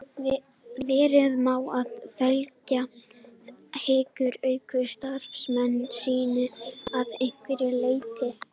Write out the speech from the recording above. Vera má að félag hyggist auka starfsemi sína að einhverju leyti.